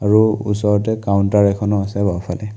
আৰু ওচৰতে কাউন্টাৰ এখনো আছে বাওঁফালে।